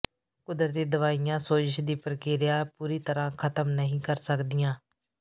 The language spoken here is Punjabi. ਕੁਦਰਤੀ ਦਵਾਈਆਂ ਸੋਜ਼ਸ਼ ਦੀ ਪ੍ਰਕਿਰਿਆ ਪੂਰੀ ਤਰਾਂ ਖ਼ਤਮ ਨਹੀਂ ਕਰ ਸਕਦੀਆਂ